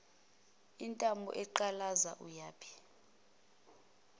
intamo eqalaza uyephi